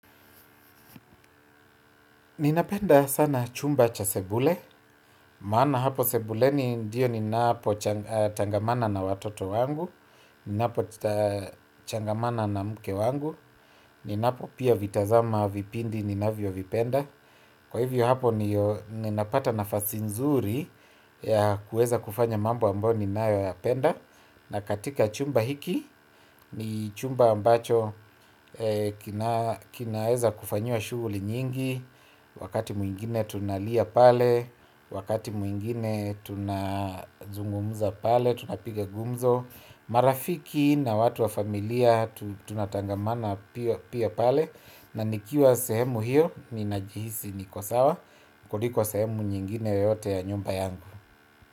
Ninapenda sana chumba cha sebule, maana hapo sebuleni ndiyo ninapo changamana na watoto wangu, ninapo changamana na mke wangu, ninapo pia vitazama vipindi ninavyo vipenda. Kwa hivyo hapo ndiyo napata nafasi nzuri ya kuweza kufanya mambo ambayo ninayo yapenda. Na katika chumba hiki ni chumba ambacho kinaweza kufanyiwa shughuli nyingi. Wakati mwingine tunalia pale, wakati mwingine tunazungumuza pale, tunapiga gumzo. Marafiki na watu wa familia tunatangamana pia pale. Na nikiwa sehemu hiyo ni najihisi niko sawa kuliko sehemu nyingine yoyote ya nyumba yangu.